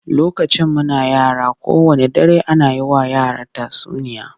Lokacin muna yara, kowanne dare ana yi wa yara tatsuniya